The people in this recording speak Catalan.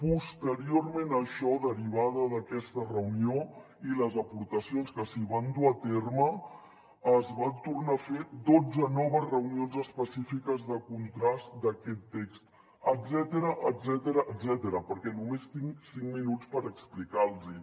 posteriorment a això derivada d’aquesta reunió i les aportacions que s’hi van dur a terme es van tornar a fer dotze noves reunions específiques de contrast d’aquest text etcètera perquè només tinc cinc minuts per explicar los ho